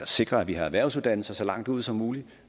sikre at vi har erhvervsuddannelser så langt ude som muligt